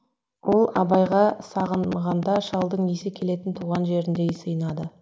ол абайға сағынғанда шалдың иісі келетін туған жеріндей сыйынады